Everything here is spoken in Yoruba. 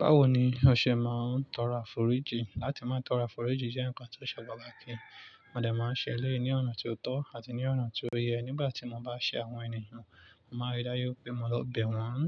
Báwo ni a ṣe ma ń tọrọ àforíjì láti máa tọrọ àforíjì jẹ́ n'ǹka tó ṣe pàtàkì a dè ma ń ṣe eléyì ní ọ̀nà tí ó tọ́ àti ní ọ̀nà tí ó yẹ. Nígbà tí mo bá ṣe àwọn ènìyàn, mo máa rí dá ju pé mo lọ bẹ̀ wọ́n,